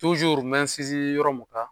n bɛ sinsin yɔrɔ mun kan